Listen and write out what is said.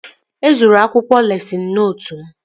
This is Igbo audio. E zuru akwụkwọ lesịn nootu m